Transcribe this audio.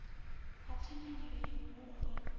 ha thanganyelo ya muholo wa